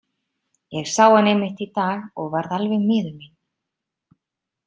Ég sá hann einmitt í dag og varð alveg miður mín.